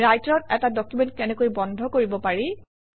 ৰাইটাৰত এটা ডকুমেণ্ট কেনেকৈ বন্ধ কৰিব পাৰি